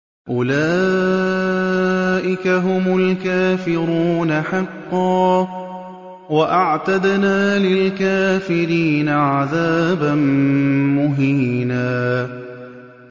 أُولَٰئِكَ هُمُ الْكَافِرُونَ حَقًّا ۚ وَأَعْتَدْنَا لِلْكَافِرِينَ عَذَابًا مُّهِينًا